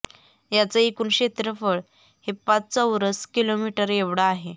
याचं एकूण क्षेत्रपळ हे पाच चौरस किलोमीटर एवढं आहे